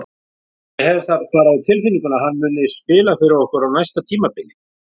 Ég hef það bara á tilfinningunni að hann muni spila fyrir okkur á næsta tímabili.